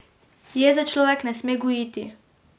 Jeze človek ne sme gojiti.